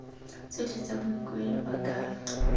tsotlhe tsa boikuelo ba ka